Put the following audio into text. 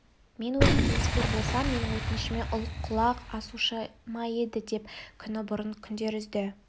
мен өзім қылмыскер болсам менің өтінішіме ұлық құлақ асушы ма еді деп күні бұрын күдер үзді